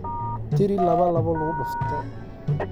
tiri laba laba lagu dhufto